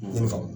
I ni faamu